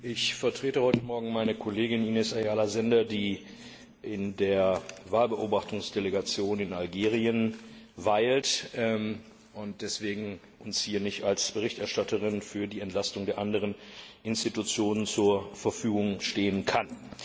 Ich vertrete heute Morgen meine Kollegin Ines Ayala Sender, die in der Wahlbeobachtungsdelegation in Algerien weilt und uns deswegen hier nicht als Berichterstatterin für die Entlastung der anderen Institutionen zur Verfügung stehen kann.